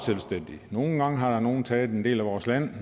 nogle gange har nogen taget en del af vores land